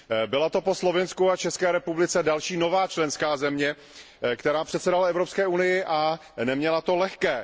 Byla to po Slovinsku a České republice další nová členská země, která předsedala Evropské unii a neměla to lehké.